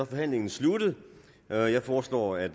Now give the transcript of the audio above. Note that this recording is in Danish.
forhandlingen sluttet jeg jeg foreslår at